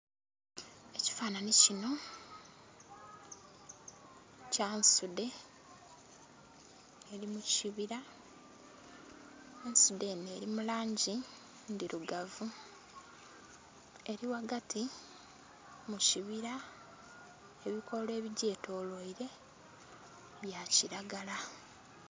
Ekifananhi kinho kya nsudhe eri mu kibira ensudhe enho eri mu langi ndhirugavu eri ghagati mu kibira ebikoola ebigyetolweire bya kilagala.